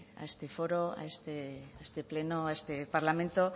a este foro a este pleno a este parlamento